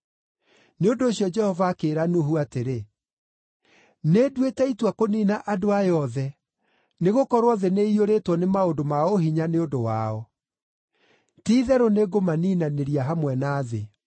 Nĩ ũndũ ũcio Jehova akĩĩra Nuhu atĩrĩ, “Nĩnduĩte itua kũniina andũ aya othe, nĩgũkorwo thĩ nĩ ĩiyũrĩtwo nĩ maũndũ ma ũhinya nĩ ũndũ wao. Ti-itherũ nĩngũmaniinanĩria hamwe na thĩ.